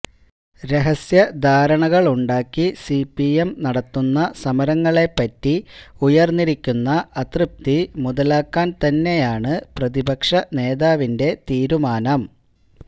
രഹസ്യധാരണകളുണ്ടാക്കി CPM നടത്തുന്ന സമരങ്ങളേപ്പറ്റി ഉയര്ന്നിരിക്കുന്ന അതൃപ്തി മുതലാക്കാന്തന്നെയാണ് പ്രതിപക്ഷ നേതാവിന്റെ തീരുമാനം